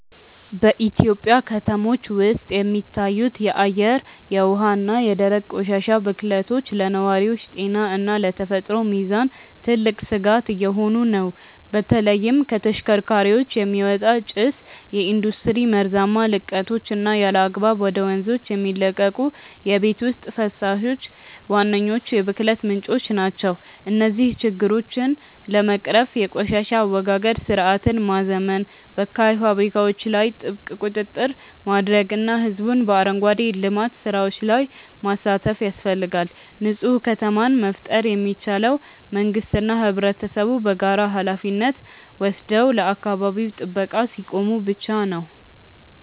በኢትዮጵያ ከተሞች ውስጥ የሚታዩት የአየር፣ የውሃ እና የደረቅ ቆሻሻ ብክለቶች ለነዋሪዎች ጤና እና ለተፈጥሮ ሚዛን ትልቅ ስጋት እየሆኑ ነው። በተለይም ከተሽከርካሪዎች የሚወጣ ጭስ፣ የኢንዱስትሪ መርዛማ ልቀቶች እና ያለአግባብ ወደ ወንዞች የሚለቀቁ የቤት ውስጥ ፈሳሾች ዋነኞቹ የብክለት ምንጮች ናቸው። እነዚህን ችግሮች ለመቅረፍ የቆሻሻ አወጋገድ ስርዓትን ማዘመን፣ በካይ ፋብሪካዎች ላይ ጥብቅ ቁጥጥር ማድረግ እና ህዝቡን በአረንጓዴ ልማት ስራዎች ላይ ማሳተፍ ያስፈልጋል። ንፁህ ከተማን መፍጠር የሚቻለው መንግስትና ህብረተሰቡ በጋራ ሃላፊነት ወስደው ለአካባቢ ጥበቃ ሲቆሙ ብቻ ነው።